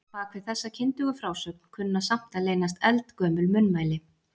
Bak við þessa kyndugu frásögn kunna samt að leynast eldgömul munnmæli.